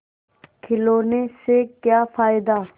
खिलौने से क्या फ़ायदा